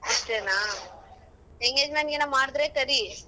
ಅಷ್ಟೇನಾ? engagement ಗೇನ ಮಾಡ್ದ್ರೆ ಕರಿ.